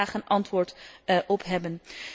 Ik zou daar graag een antwoord op hebben.